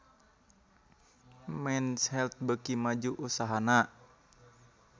Men's Health beuki maju usahana